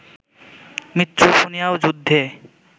মৃত্যু শুনিয়াও যুদ্ধে